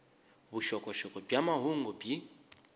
vuxokoxoko bya mahungu byi